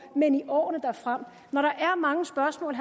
men i årene frem når der er mange spørgsmål